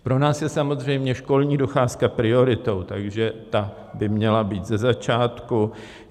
Pro nás je samozřejmě školní docházka prioritou, takže ta by měla být ze začátku.